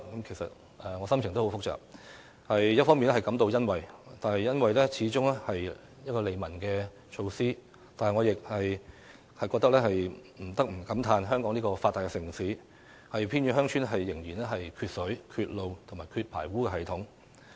其實我的心情很複雜，一方面感到欣慰，因為這始終是利民措施，但我亦不得不感嘆在香港這個發達城市，偏遠鄉村仍然缺水、缺路、缺排污系統。